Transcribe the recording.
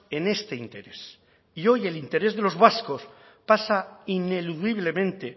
en este interés y hoy el interés de los vascos pasa ineludiblemente